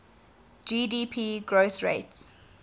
gdp growth rates